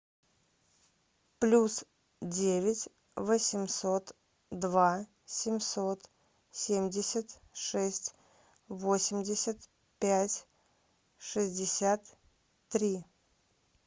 плюс девять восемьсот два семьсот семьдесят шесть восемьдесят пять шестьдесят три